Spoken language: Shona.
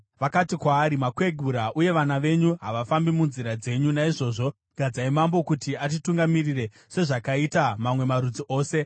Vakati kwaari, “Makwegura, uye vana venyu havafambi munzira dzenyu; naizvozvo gadzai mambo kuti atitungamirire, sezvakaita mamwe marudzi ose.”